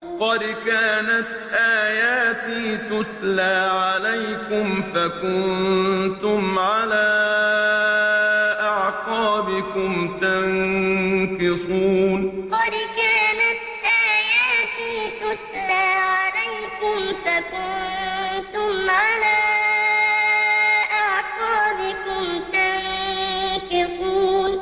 قَدْ كَانَتْ آيَاتِي تُتْلَىٰ عَلَيْكُمْ فَكُنتُمْ عَلَىٰ أَعْقَابِكُمْ تَنكِصُونَ قَدْ كَانَتْ آيَاتِي تُتْلَىٰ عَلَيْكُمْ فَكُنتُمْ عَلَىٰ أَعْقَابِكُمْ تَنكِصُونَ